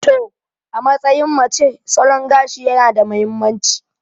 To, a matsayin mace, salon gashi yana da mahimmanci.